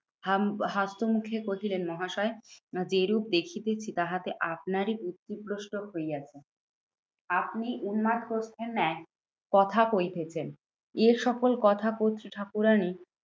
হাম হাস্যমুখে কহিলেন মহাশয়, না যেইরূপ দেখিতেছি তাহাতে আপনারই বুদ্ধিভ্রষ্ট হইয়াছে। আপনি উন্মাদ হচ্ছেন এক কথা কইতেছেন এ সকল কথা কর্ত্রী ঠাকুরানী